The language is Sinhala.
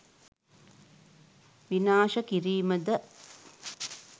විනාශ කිරීම ද?